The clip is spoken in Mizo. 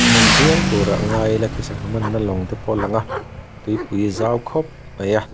viau turah ngai ila khi sangha manna lawng te pawh a lang a tuipui zau khawp mai a.